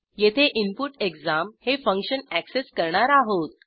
येथे input exam हे function access करणार आहोत